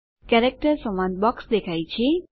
character સંવાદ box દેખાય છે